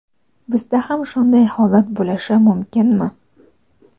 Bizda ham shunday holat bo‘lishi mumkinmi?.